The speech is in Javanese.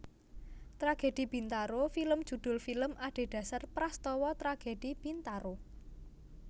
Tragedi Bintaro film judhul film adhedhasar prastawa Tragedi Bintaro